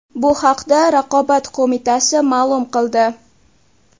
Bu haqda Raqobat qo‘mitasi ma’lum qildi .